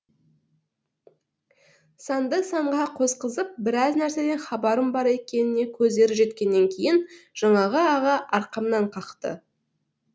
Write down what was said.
санды санға қосқызып біраз нәрседен хабарым бар екеніне көздері жеткеннен кейін жаңағы аға арқамнан қақты